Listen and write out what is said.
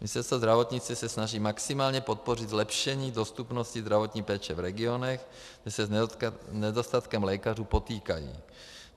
Ministerstvo zdravotnictví se snaží maximálně podpořit zlepšení dostupnosti zdravotní péče v regionech, kde se s nedostatkem lékařů potýkají.